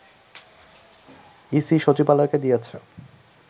EC সচিবালয়কে দিয়েছে